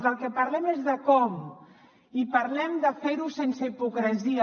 del que parlem és de com i parlem de fer ho sense hipocresia